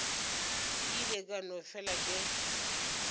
ile ka no fela ke